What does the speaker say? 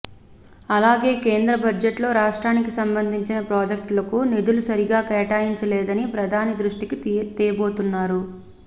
అలాగే కేంద్ర బడ్జెట్లో రాష్ట్రానికి సంబంధించిన ప్రాజెక్టులకు నిధులు సరిగా కేటాయించలేదని ప్రధాని దృష్టికి తేబోనున్నారు